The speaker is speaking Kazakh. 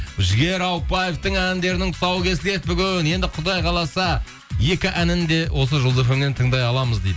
жігер ауыпбаевтің әндерінің тұсауы кесіледі бүгін енді құдай қаласа екі әнін де осы жұлдыз фм нен тыңдай аламыз дейді